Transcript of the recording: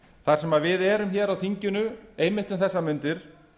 þar sem við erum á þinginu einmitt um þessar mundir